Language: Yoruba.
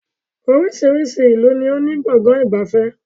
Oríṣiríṣi ìlú ni ó ní Gbọ̀ngán ìgbafẹ́